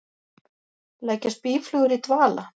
Leggjast býflugur í dvala?